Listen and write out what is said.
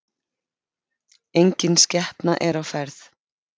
Enginn skepna er á ferð